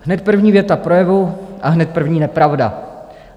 Hned první věta projevu a hned první nepravda.